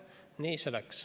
Nii see läks.